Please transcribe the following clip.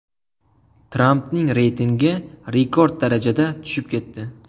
Trampning reytingi rekord darajada tushib ketdi.